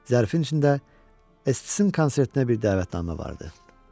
Zərfin içində Estissim konsertinə bir dəvətnamə vardı.